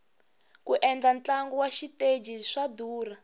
ku endla ntlangu wa xiteji swa durha